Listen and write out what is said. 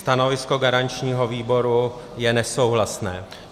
Stanovisko garančního výboru je nesouhlasné.